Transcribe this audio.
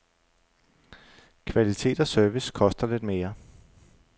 Kvalitet og service koster lidt mere.